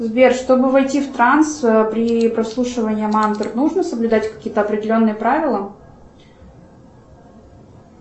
сбер чтобы войти в транс при прослушивании мантр нужно соблюдать какие то определенные правила